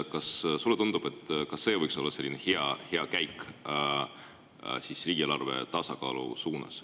Kas sulle tundub, et ka see võiks olla hea käik riigieelarve tasakaalu suunas?